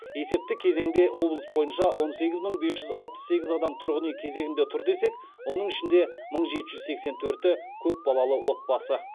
есепті кезеңде облыс бойынша он сегіз мың бес жүз алпыс сегіз адам тұрғын үй кезегінде тұр десек оның ішінде мың жеті жүз сексен төрті көпбалалы отбасы